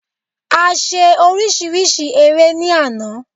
A ṣe oríṣiríṣi eré ní àná